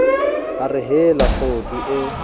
a re hela kgudu e